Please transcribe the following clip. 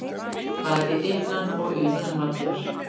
Bæði innan og utan vallar.